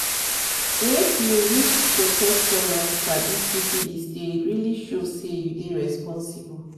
make you use protection and sabi syphilis deyit really show say you dey responsible